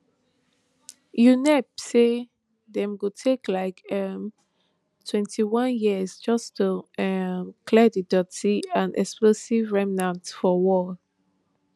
unep say dem go take like um twenty-one years just to um clear di doti and explosives remnants for war